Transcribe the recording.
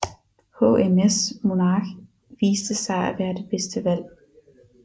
HMS Monarch viste sig at være det bedste valg